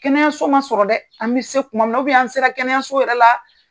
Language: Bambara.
Kɛnɛyaso man sɔrɔ dɛ an bɛ se kuma min na an sera kɛnɛyaso yɛrɛ la.